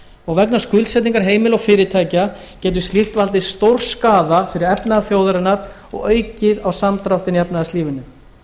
og vegna skuldsetninga heimila og fyrirtækja getur slíkt valdið stórskaða fyrir efnahag þjóðarinnar og aukið á samdráttinn í efnahagslífinu